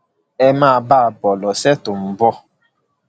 ẹ máa bá a bọ lọsẹ tó ń bọ